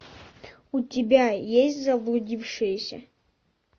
у тебя есть заблудившиеся